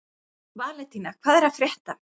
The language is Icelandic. Valentína, hvað er að frétta?